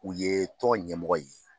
U ye tɔn ɲɛmɔgɔ ye.